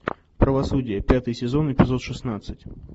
правосудие пятый сезон эпизод шестнадцать